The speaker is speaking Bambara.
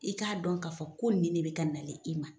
I k'a dɔn k'a fɔ ko ni ne bɛ ka nale i ma.